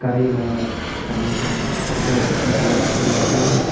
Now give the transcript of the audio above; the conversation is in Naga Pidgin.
cari la saman kan bika bikiri kuri ase.